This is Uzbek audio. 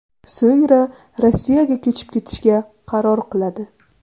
So‘ngra Rossiyaga ko‘chib ketishga qaror qiladi.